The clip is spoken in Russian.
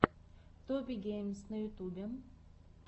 тоби геймс на ютюбе